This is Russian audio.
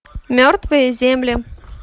мертвые земли